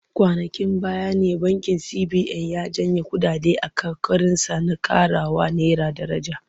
Kwanankin baya ne bankin CBN ya janye kuɗaɗe a ƙoƙarinsa na ƙarawa naira daraja.